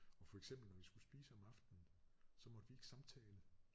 Og for eksempel når vi skulle spise om aftenen så måtte vi ikke samtale